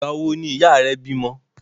Ìgbà wo ni ìyá rẹ bímọ?